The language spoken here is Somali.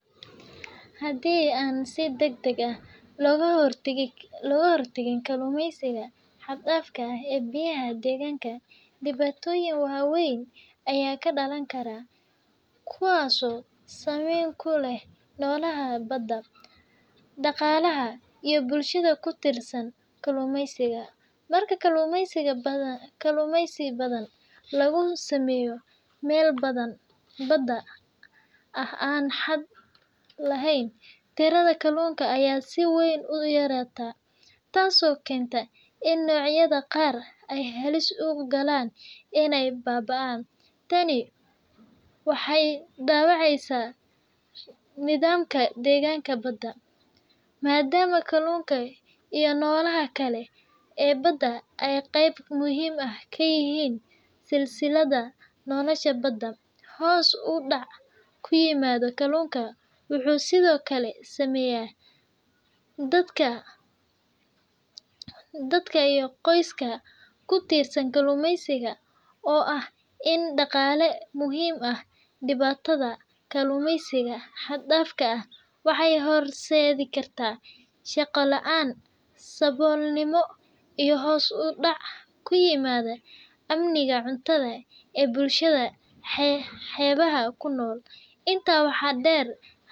Hadey an si degdeg ah Loka hortakin kalumeeysika xad dadka ee biyaha deganka dibatoyin waweyn Aya kadalankarah, kuwaso sameeyn kuleh nolaha bada, daqalaha iyo bulshada kutirsan kalumeeysika dadaka kalumeeysika bathan lagu sameeyoh meel bathan bada aah an xad laheen , tirada kaluunga Aya si weyn u yaratah taaso keenta in nocyada Qaar ay halis ugu kalan inay babaan , taani waxay dawaceysah nithamka deganka bada madama kalunka iyo nolosha Kali bada ay qeeyb muhim ah kayahin setha selselada nolosha bada , hoos u dac kuyimadoh kalunka waxu sethokali sameeyah dadka iyo qoyska kutirsan kalumeeysika oo in daqale muhim aah dibatatha kalumeeysika xatbdaf ka waxay hoorseet sethi kartah shaqa laan sabulnimo iyo hoos u dac kuyimadoh amnika cuntatha bulshada xeebaha kunol inta waxa deer.